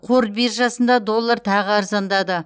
қор биржасында доллар тағы арзандады